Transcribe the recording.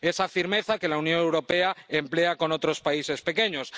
Esa firmeza que la Unión Europea emplea con otros países pequeños.